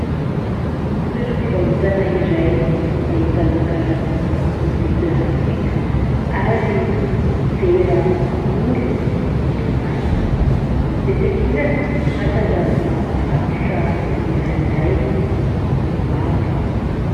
Toera-pivarotana iray ahitana karazana lovia plastika ary vera bakoly eto ambany. Etsy ankilany hatazanana mpivarotra lehilahy iray misy volombava.